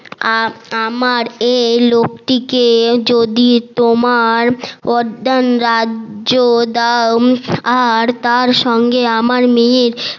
আর আমার এই লোকটি কে যদি তোমার রাজ্য দাও আর তার সঙ্গে আমার মেয়ের